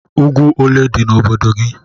Úgwú ólé dị n' obodo gị?